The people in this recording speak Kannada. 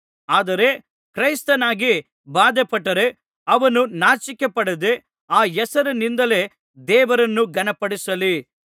ಆದರೆ ಕ್ರೈಸ್ತನಾಗಿ ಬಾಧೆಪಟ್ಟರೆ ಅವನು ನಾಚಿಕೆ ಪಡದೆ ಆ ಹೆಸರಿನಿಂದಲೇ ದೇವರನ್ನು ಘನಪಡಿಸಲಿ